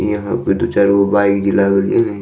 यहाँ पे दू चार गो जे बाइक लागल या ने --